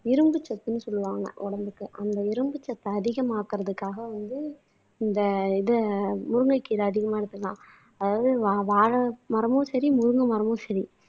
இரும்பு சத்துன்னு சொல்லுவாங்க உடம்புக்கு அந்த இரும்பு சத்தை அதிகமாக்குறதுக்காக வந்து இந்த இது முருங்கைக்கீரை அதிகமானதுதான் அதாவது வாழை மரமும் சரி முருங்கை மரமும் சரி